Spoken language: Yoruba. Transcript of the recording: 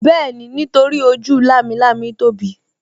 Bẹ́ẹ̀ni, nítorí ojú lámilámi tóbi